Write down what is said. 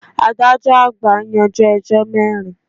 Adájọ́ àgbà yanjú ẹjọ́ mẹ́rin.